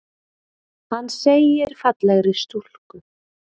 Hann segir fallegri stúlku.